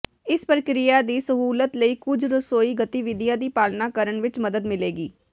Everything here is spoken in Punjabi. ਇਸ ਪ੍ਰਕਿਰਿਆ ਦੀ ਸਹੂਲਤ ਲਈ ਕੁੱਝ ਰਸੋਈ ਗਤੀਵਿਧੀਆਂ ਦੀ ਪਾਲਣਾ ਕਰਨ ਵਿੱਚ ਮਦਦ ਮਿਲੇਗੀ